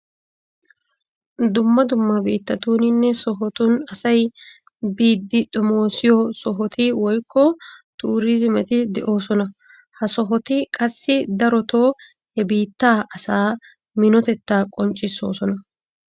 Dumma dumma biittatuuninne sohotun asay biidi xomoosiyo sohoti woykko turiizimeti de'oosona. Ha sohoti qassi darotoo he biittaa asaa minotettaa qonccissoosona.